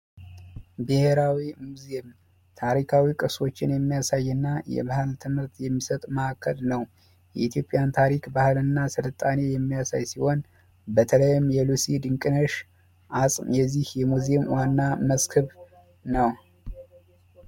ብሄራዊ ሙዚየም ታሪካዊ ቅርሶችን የሚያሳይ እና የባህል ትምህርት የሚሰጥ ማዕከል ነው። የኢትዮጵያን ባህል እና ስልጣኔ የሚያሳይ ሲሆን በተለይም የሉሲ ድንቅነሽ አፅም የዚህ ሙዚየም ዋና መስክም ነው።